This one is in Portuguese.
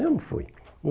Eu não fui.